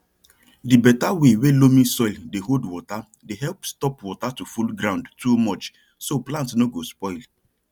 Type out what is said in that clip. di better way wey loamy soil dey hold water dey help stop water to full ground too much so plant no go spoil